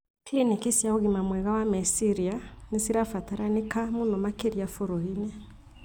Cliniki cia ũgima mwega wa meciria nĩcirabatarikana mũno makĩria bũrũriinĩ